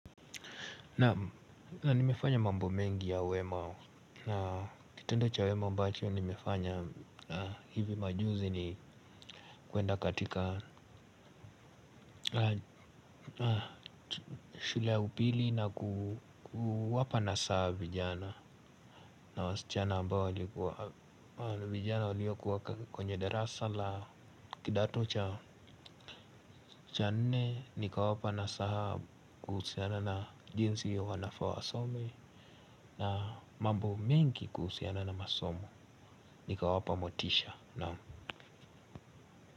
Na nimefanya mambo mengi ya wema. Na kitendo cha wema ambacho nimefanya hivi majuzi ni kuenda katika shule ya upili na kuwapa nasaha vijana. Na wasichana ambao vijana waliokuwa kwenye darasa la kidato cha cha nne nikawapa nasaha kuhusiana na jinsi wanafaa wasome. Na mambo mengi kuhusiana na masomo nikawapa motisha. Naam.